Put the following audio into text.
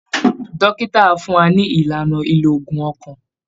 Dókítà á fún wa ní ìlànà lílo òògùn ọkàn